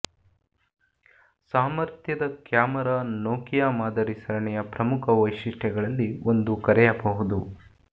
ಸಾಮರ್ಥ್ಯದ camera Nokia ಮಾದರಿ ಸರಣಿಯ ಪ್ರಮುಖ ವೈಶಿಷ್ಟ್ಯಗಳಲ್ಲಿ ಒಂದು ಕರೆಯಬಹುದು